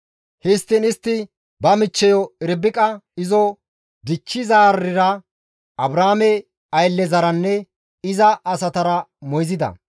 Histtiin istti ba michcheyo Irbiqa izo dichchizaarira, Abrahaame ayllezaranne iza asatara moyzida.